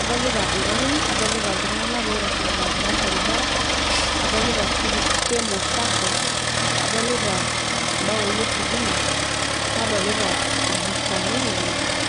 adolita ngarin, adolita loitashito tenkalo orbaribara ,adolita kemo sako ,adolita mmbaoi ositima ,nadolita irbustani le network.